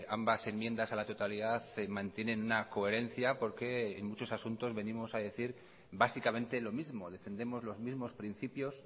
ambas enmiendas a la totalidad mantienen una coherencia porqueen muchos asuntos venimos a decir básicamente lo mismo defendemos los mismos principios